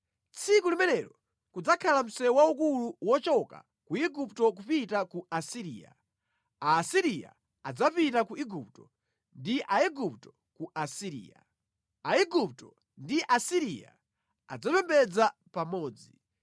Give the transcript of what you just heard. Tsiku limenelo kudzakhala msewu waukulu wochoka ku Igupto kupita ku Asiriya. Aasiriya adzapita ku Igupto ndi Aigupto ku Asiriya. Aigupto ndi Aasiriya adzapembedza pamodzi.